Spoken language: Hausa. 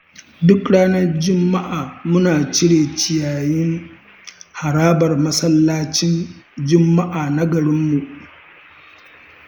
Duk ranar juma'a muna cire ciyayin harabar masallacin juma'a na garinmu.